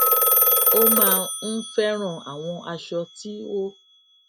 ó máa ń féràn àwọn aṣọ tí ó